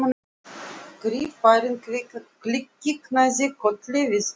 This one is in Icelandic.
Skrifarinn kinkaði kolli við og við.